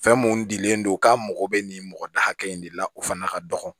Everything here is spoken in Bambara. Fɛn mun dilen don k'a mago bɛ nin mɔgɔ da hakɛ in de la o fana ka dɔgɔn